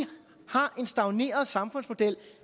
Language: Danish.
har en stagneret samfundsmodel